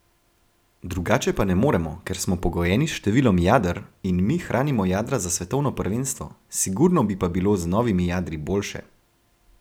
Drugače pa ne moremo, ker smo pogojeni s številom jader, in mi hranimo jadra za svetovno prvenstvo, sigurno bi pa bilo z novimi jadri boljše.